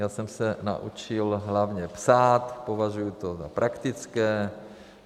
Já jsem se naučil hlavně psát, považuji to za praktické.